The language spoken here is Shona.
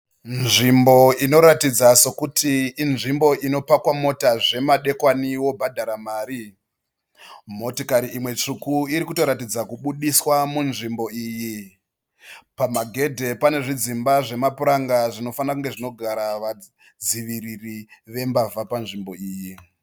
Nzvimbo inoratidza sokuti inzvimbo inopakwa mota zvemadekwani wobhadhara mari. Motikari imwe tsvuku iri kutoratidza kubudiswa munzvimbo iyi. Pagedhe pane zvidzimba zvemapuranga zvinofanira kunge zvinogara vadziviriri vembavha panzvimbo iyi.